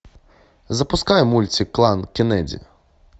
запускай мультик клан кеннеди